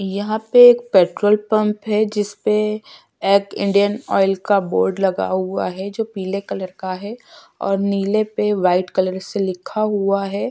यहां पे एक पेट्रोल पंप है जिसपे एक इंडियन ऑइल का बोर्ड लगा हुआ है जो पीले कलर का है और नीले पे व्हाइट कलर से लिखा हुआ है।